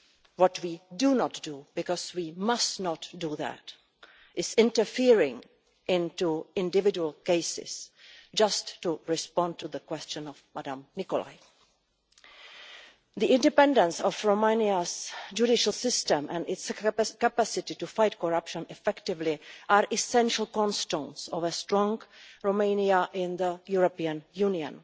What we do not do, because we must not do that, is interfere in individual cases just to respond to the question of Ms Nicolai. The independence of Romania's judicial system and its capacity to fight corruption effectively are essential cornerstones of a strong Romania in the European Union.